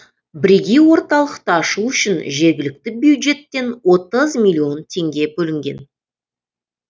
бірегей орталықты ашу үшін жергілікті бюджеттен отыз миллион теңге бөлінген